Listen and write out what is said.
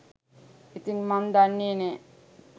ඉතින් මං දන්නේ නෑ